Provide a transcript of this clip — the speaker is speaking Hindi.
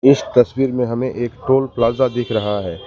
इस तस्वीर में हमें एक टोल प्लाजा दिख रहा है।